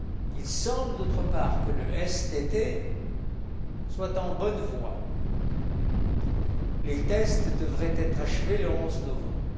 Il semble, d'autre part, que le STT soit en bonne voie. Les tests devraient être achevés le 11 novembre.